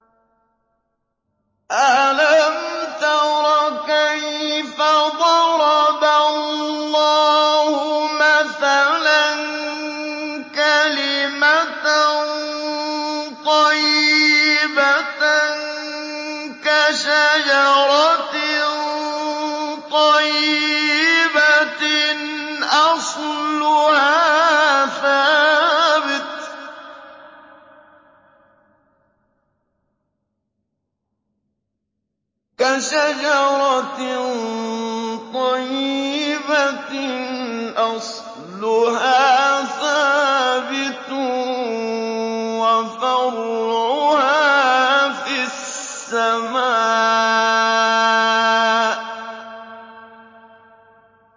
أَلَمْ تَرَ كَيْفَ ضَرَبَ اللَّهُ مَثَلًا كَلِمَةً طَيِّبَةً كَشَجَرَةٍ طَيِّبَةٍ أَصْلُهَا ثَابِتٌ وَفَرْعُهَا فِي السَّمَاءِ